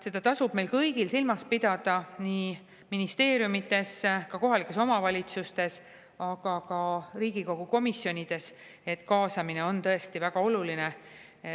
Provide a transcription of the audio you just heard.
Seda tasub meil kõigil silmas pidada nii ministeeriumides, kohalikes omavalitsustes kui ka Riigikogu komisjonides, et kaasamine on tõesti väga oluline.